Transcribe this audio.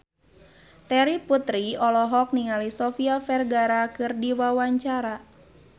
Terry Putri olohok ningali Sofia Vergara keur diwawancara